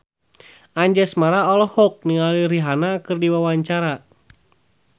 Anjasmara olohok ningali Rihanna keur diwawancara